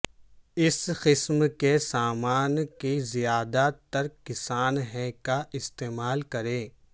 اس قسم کے سامان کی زیادہ تر کسان ہیں کا استعمال کریں